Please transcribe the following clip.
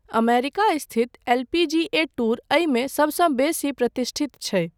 America स्थित LPGA tour एहिमे सभसँ बेसी प्रतिष्ठित छै।